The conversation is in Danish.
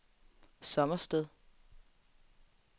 Sommersted